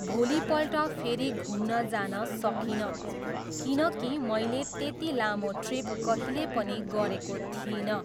भोलिपल्ट फेरि घुम्न जान सकिनँ, किनकि मैले त्यति लामो ट्रिप कहिले पनि गरेको थिइनँ।